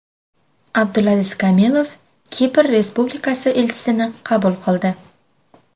Abdulaziz Kamilov Kipr Respublikasi elchisini qabul qildi.